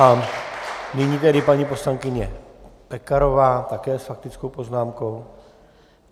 A nyní tedy paní poslankyně Pekarová také s faktickou poznámkou.